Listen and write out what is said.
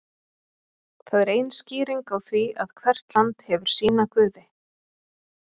það er ein skýringin á því að hvert land hefur sína guði